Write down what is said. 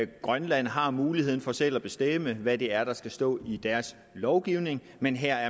grønland har muligheden for selv at bestemme hvad det er der skal stå i deres lovgivning men her